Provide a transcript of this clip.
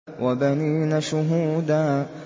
وَبَنِينَ شُهُودًا